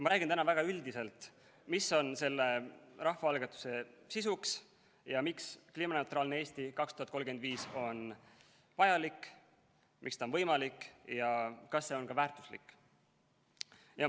Ma räägin täna väga üldiselt, mis on selle rahvaalgatuse sisu ja miks "Kliimaneutraalne Eesti 2035" on vajalik, miks see on võimalik ja kas see on ka väärtuslik.